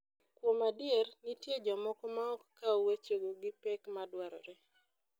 Kuom adier, nitie jomoko maok kaw wechego gi pek madwarore.